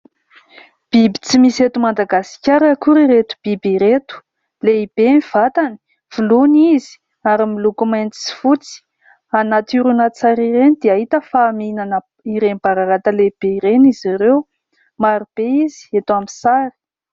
Biby tsy misy eto Madagasikara akory ireto biby ireto, lehibe ny vatany, voloina izy ary miloko mainty sy fotsy. Anaty horonantsary ireny dia hita fa mihinana ireny bararata lehibe ireny izy ireo, marobe izy eto amin'ny sary.